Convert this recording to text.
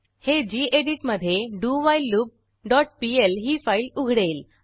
हे गेडीत मधे dowhileloopपीएल ही फाईल उघडेल